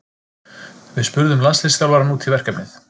Við spurðum landsliðsþjálfarann út í verkefnið.